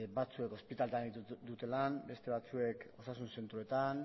batzuek ospitaletan egiten dute lan beste batzuek osasun zentroetan